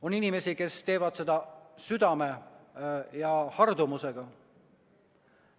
On inimesi, kes teevad seda südame ja hardumusega.